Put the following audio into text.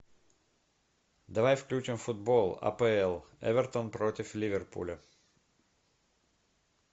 давай включим футбол апл эвертон против ливерпуля